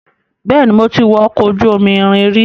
Bẹ́ẹ̀ni, mo ti wọ ọkọ̀ ojú irin rí.